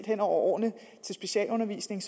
hen over årene til specialundervisning